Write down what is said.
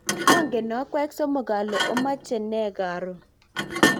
ongen akwek somok ale omache nee karon